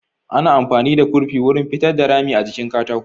Ana amfani da kurfi wurin pitar da rami a jikin katako